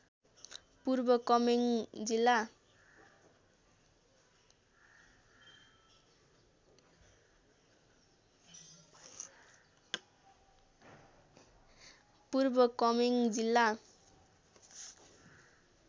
पूर्व कमेङ्ग जिल्ला